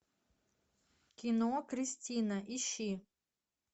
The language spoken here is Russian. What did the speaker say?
кино кристина ищи